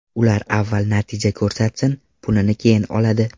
Ular avval natija ko‘rsatsin, pulini keyin oladi.